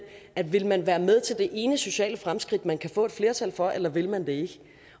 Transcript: vil man være med til det ene sociale fremskridt man kan få et flertal for eller vil man det ikke